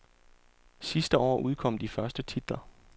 Sidste år udkom de første titler.